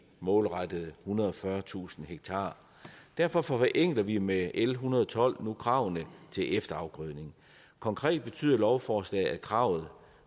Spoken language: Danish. målrettede ethundrede og fyrretusind ha derfor forenkler vi med l en hundrede og tolv nu kravene til efterafgrødning konkret betyder lovforslaget at kravet